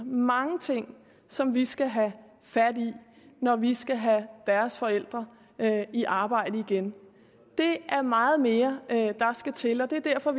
mange ting som vi skal have fat i når vi skal have deres forældre i arbejde igen det er meget mere der skal til og det er derfor